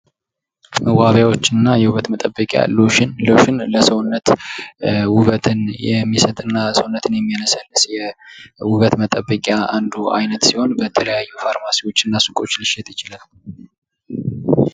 መዋቢያዎች እና የውበት መጠበቂያ ፦ ሎሽን ፦ ሎሽን ለሰውነት ውበትን የሚሰጥና ሰውነትን የሚያለሰልስ ውበት መጠበቂያ አንዱ አይነት ሲሆን በተለያዩ ፋርማሲዎች እና ሱቆች ሊሸጥ ይችላል ።